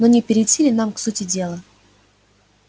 но не перейти ли нам к сути дела